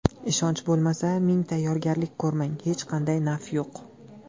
Ishonch bo‘lmasa, ming tayyorgarlik ko‘rmang, hech qanday naf yo‘q.